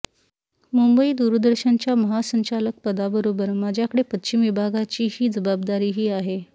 मुंबई दूरदर्शनच्या महासंचालकपदाबरोबर माझ्याकडे पश्चिम विभागाचीही जबाबदारीही आहे